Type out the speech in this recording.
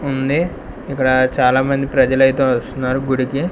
ఉంది ఇక్కడ చాలా మంది ప్రజలైతే వస్తున్నారు గుడికి.